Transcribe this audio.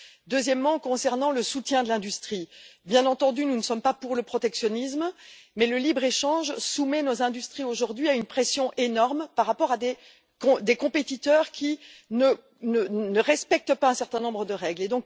Deuxièmement, en ce qui concerne le soutien de l'industrie bien entendu, nous ne sommes pas pour le protectionnisme, mais le libre échange soumet nos industries aujourd'hui à une pression énorme par rapport à des compétiteurs qui ne respectent pas un certain nombre de règles.